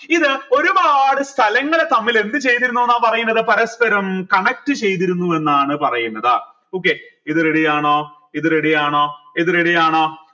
ഇത് ഒരുപാട് സ്ഥലങ്ങളെ തമ്മിൽ എന്ത് ചെയ്തിരുന്നു ന്ന പറയുന്നത് പരസ്പരം connect ചെയ്തിരുന്നു എന്നാണ് പറയുന്നത് okay ഇത് ready ആണോ ഇത് ready ആണോ ഇത് ready ആണോ